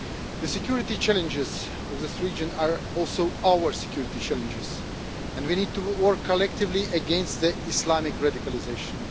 The security challenges in this region are also our security challenges, and we need to work collectively against Islamic radicalisation.